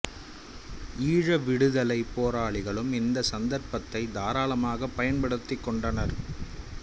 ஈழ விடுதலை போராளிகளும் இந்த சந்தர்ப்பத்தை தாராளமாக பயன்படுத்திக் கொண்டனர்